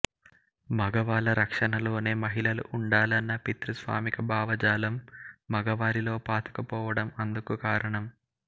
మగవాళ్ల రక్షణలోనే మహిళలు ఉండాలన్న పితృస్వామిక భావజాలం మగవారిలో పాతుకుపోవడం అందుకు కారణం